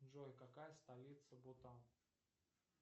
джой какая столица бутан